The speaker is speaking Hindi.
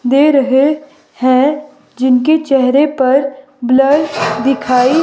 दे रहे है जिनके चेहरे पर ब्लर दिखाई--